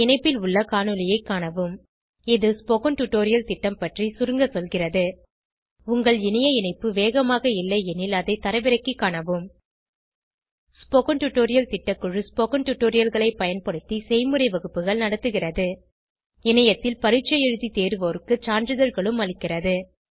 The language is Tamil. இந்த இணைப்பில் உள்ள காணொளியைக் காணவும் இது ஸ்போகன் டுடோரியல் திட்டம் பற்றி சுருங்க சொல்கிறது உங்கள் இணைய இணைப்பு வேகமாக இல்லையெனில் அதை தரவிறக்கிக் காணவும் ஸ்போகன் டுடோரியல் திட்டக்குழு ஸ்போகன் டுடோரியல்களைப் பயன்படுத்தி செய்முறை வகுப்புகள் நடத்துகிறது இணையத்தில் பரீட்சை எழுதி தேர்வோருக்கு சான்றிதழ்களும் அளிக்கிறது